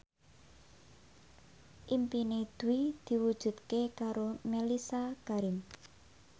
impine Dwi diwujudke karo Mellisa Karim